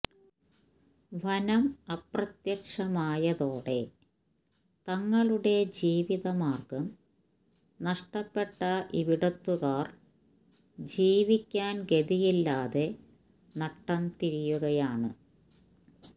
വനം അപ്രത്യക്ഷമായതോടെ തങ്ങളുടെ ജീവിത മാര്ഗ്ഗം നഷ്ടപ്പെട്ട ഇവിടത്തുകാര് ജീവിക്കാന് ഗതിയില്ലാതെ നട്ടം തിരിയുകയാണ്